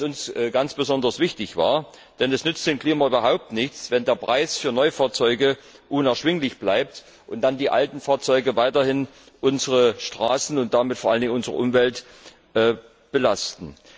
Das war uns ganz besonders wichtig, denn es nützt dem Klima überhaupt nichts, wenn der Preis für Neufahrzeuge unerschwinglich bleibt und dann die alten Fahrzeuge weiterhin unsere Straßen und damit vor allen Dingen unsere Umwelt belasten.